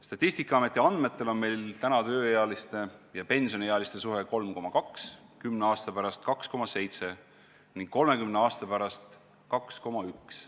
Statistikaameti andmetel on meil praegu ühe pensioniealise kohta 3,2 tööealist, kümne aasta pärast 2,7 ning 30 aasta pärast 2,1.